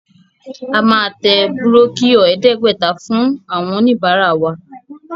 A máa tẹ búrókíọ̀ ẹ̀ẹ́dẹ́gbẹ̀ta fún oníbàárà wa.